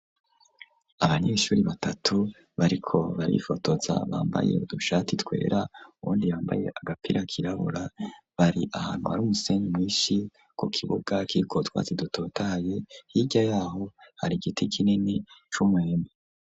Abanyeshuri batatu, bariko barifotoza; bambaye udushati twera, uwundi yambaye, agapira kirabura; bari ahantu, hari umusenyi mwinshi, ku kibuga kiriko, utwatsi dutotahaye; hirya y'aho hari igiti kinini, c'umwembe.